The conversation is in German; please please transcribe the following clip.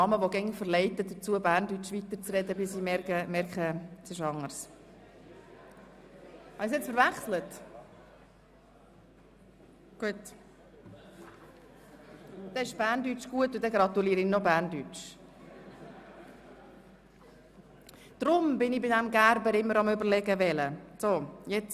Bei 117 ausgeteilten und 116 eingegangenen Wahlzetteln, wovon leer 1 und ungültig 0, in Betracht fallend 115, wird bei einem absoluten Mehr von 58 gewählt: